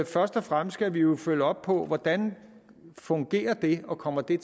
først og fremmest skal vi jo følge op på hvordan fungerer det og kommer de